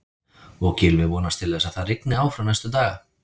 Og Gylfi vonast til þess að það rigni áfram næstu daga?